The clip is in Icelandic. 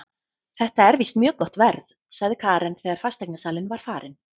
Þetta er víst mjög gott verð, sagði Karen þegar fasteignasalinn var farinn.